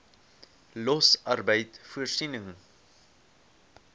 los arbeid voorsiening